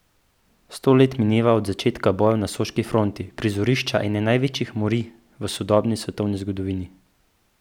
Sto let mineva od začetka bojev na soški fronti, prizorišča ene največjih morij v sodobni svetovni zgodovini.